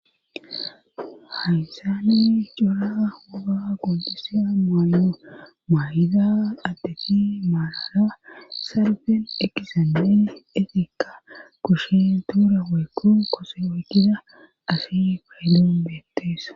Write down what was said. haysani jora huga godusa maayo maay7ida addeti maalala salfen ekizande etekka kushen tuura weekkon koso woykida ashi paylon beetteesa